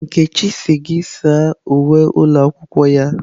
Nkechi sị gị saa uwe ụlọ akwụkwọ ya.